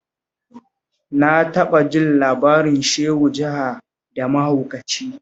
Na taɓa jin labarin Shehu jaha da mahaukaci